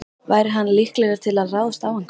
Væri hann líklegur til að ráðast á einhvern?